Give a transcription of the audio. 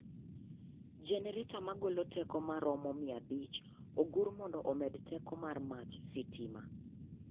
Genereta magolo teko maromo mia abich ogur mondo omed teko mar mach sitima.